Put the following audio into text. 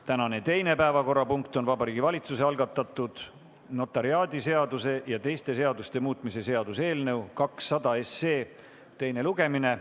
Tänane teine päevakorrapunkt on Vabariigi Valitsuse algatatud notariaadiseaduse ja teiste seaduste muutmise seaduse eelnõu 200 teine lugemine.